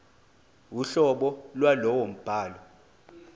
uhlobo lwalowo mbhalo